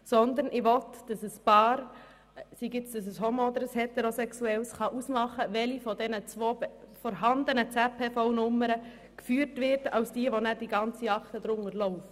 Vielmehr möchte ich, dass ein homo- oder heterosexuelles Paar wählen kann, welche der beiden vorhandenen ZPVNummern als diejenige geführt wird, unter der die gemeinsame Steuerakte läuft.